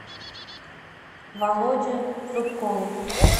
володе зубкову